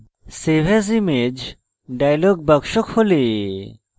save as image dialog box খোলে